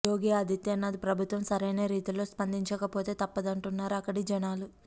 యోగి ఆదిత్యనాథ్ ప్రభుత్వం సరైన రీతిలో స్పందించకపోతే తప్పదంటున్నారు అక్కడి జనాలు